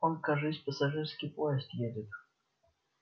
он кажись пассажирский поезд едет